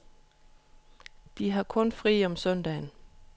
De har kun fri om søndagen.